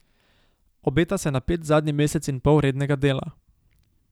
Obeta se napet zadnji mesec in pol rednega dela.